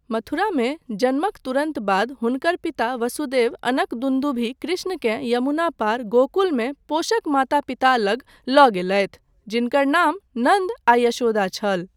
मथुरामे जन्मक तुरन्त बाद हुनकर पिता वसुदेव अनकदुन्दुभी कृष्णकेँ यमुना पार, गोकुलमे पोषक माता पिता लग लऽ गेलथि, जिनकर नाम नन्द आ यशोदा छल।